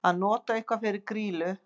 Að nota eitthvað fyrir grýlu